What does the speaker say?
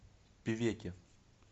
певеке